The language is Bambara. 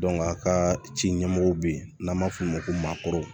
a ka ci ɲɛmɔgɔw bɛ yen n'an b'a f'o ma ko maakɔrɔ